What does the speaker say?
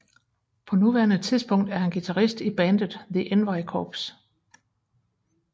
På nuværende tidpunkt er han guitarist i bandet The Envy Corps